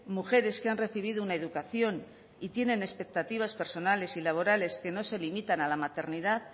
mujeres que han recibido una educación y tienen expectativas personales y laborales que no se limitan a la maternidad